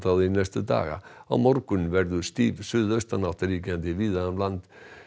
því næstu daga á morgun verður stíf suðaustanátt ríkjandi víða um land